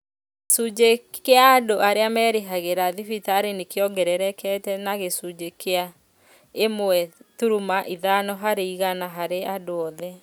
Gĩcunjĩ kĩa andũ arĩa merĩhagĩra thibitarĩ nĩkĩongererekete na gĩcunjĩ kĩa ĩmwe turuma ithano harĩ igana harĩ andũ othe